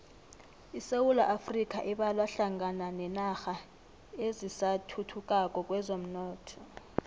isewula afrika ibalwa hlangana nenarha ezisathuthukako kwezomnotho